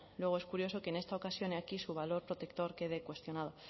luego es curioso que en esta ocasión y aquí su valor protector quede cuestionado